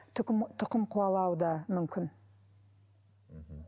тұқым қуалауы да мүмкін мхм